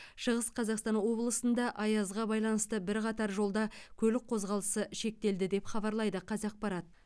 шығыс қазақстан облысында аязға байланысты бірқатар жолда көлік қозғалысы шектелді деп хабарлайды қазақпарат